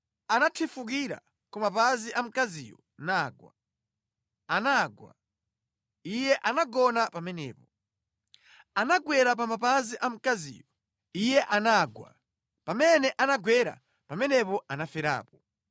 Anathifukira ku mapazi a mkaziyo nagwa, anagwa; iye anagona pamenepo. Anagwera pa mapazi a mkaziyo, iye anagwa; pamene anagwera, pamenepo anaferapo.